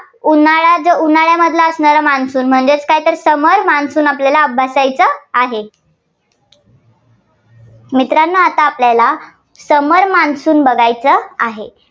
उन्हाळ्यात जे उन्हाळ्यामधला असणारा monsoon म्हणजेच काय तर summer monsoon आपल्याला अभ्यासायचं आहे. मित्रांनो आता आपल्याला summer monsoon बघायचं आहे.